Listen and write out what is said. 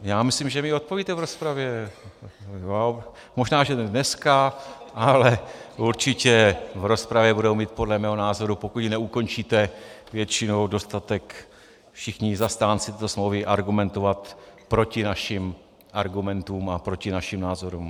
Já myslím, že mi odpovíte v rozpravě, možná že ne dneska, ale určitě v rozpravě budou moci podle mého názoru, pokud neukončíte většinou, dostatek všichni zastánci této smlouvy argumentovat proti našim argumentům a proti našim názorům.